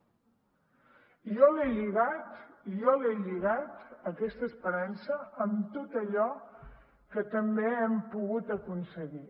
i jo l’he lligat aquesta esperança amb tot allò que també hem pogut aconseguir